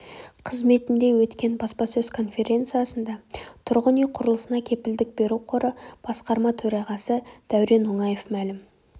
қызметінде өткен баспасөз конференциясында тұрғын үй құрылысына кепілдік беру қоры басқарма төрағасы дәурен оңаев мәлім